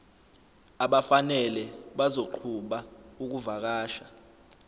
abafanele bazoqhuba ukuvakasha